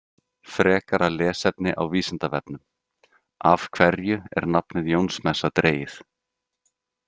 Frekara lesefni á Vísindavefnum Af hverju er nafnið Jónsmessa dregið?